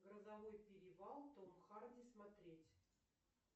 грозовой перевал том харди смотреть